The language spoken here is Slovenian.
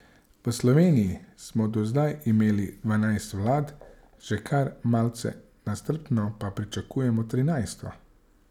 V Sloveniji smo do zdaj imeli dvanajst vlad, že kar malce nestrpno pa pričakujemo trinajsto.